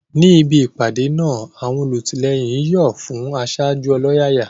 Níbi ìpàdé náà, àwọn olùtìlẹ́yìn ń yọ̀ fún aṣáájú ọlọ́yàyà.